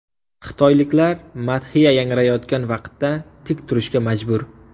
Xitoyliklar madhiya yangrayotgan vaqtda tik turishga majbur.